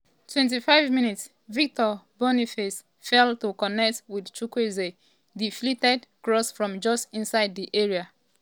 25 mins - victor boniface fail to connect wit chukwueze deflected cross from just inside di area.